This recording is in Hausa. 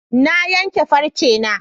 Na yanke farcena.